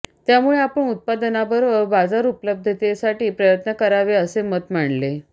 त्यामुळे आपण उत्पादना बरोबर बाजार उपलब्धतेसाठी प्रयत्न करावे असे मत मांडले